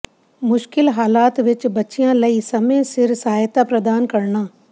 ਮੁਸ਼ਕਿਲ ਹਾਲਾਤ ਵਿਚ ਬੱਚਿਆਂ ਲਈ ਸਮੇਂ ਸਿਰ ਸਹਾਇਤਾ ਪ੍ਰਦਾਨ ਕਰਨਾ